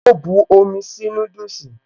O bu omi sí núdùsì